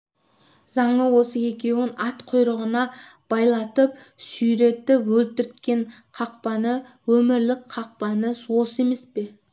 заңы осы екеуін ат құйрығына байлатып сүйретіп өлтірткен қақпаны өмірлік қақпаны осы емес пе